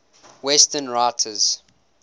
western writers